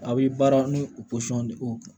A bɛ baara ni o de o